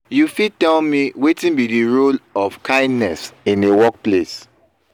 you fit tell me wetin be di role of kindness in a workplace?